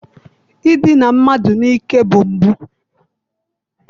Idina mmadụ n'ike bụ mpụ.